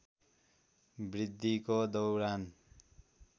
वृद्धिको दौरान